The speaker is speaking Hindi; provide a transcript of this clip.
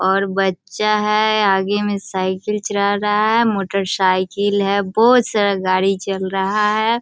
और बच्‍चा है आगे में साइकिल चला रहा है मोटर साइकिल है बहोत सारा गाड़ी चल रहा है।